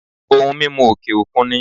Ohun mímu òkè òkun ni